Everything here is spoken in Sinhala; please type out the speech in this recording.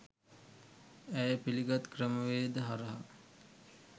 ඇය පිළිගත් ක්‍රමවේද හරහා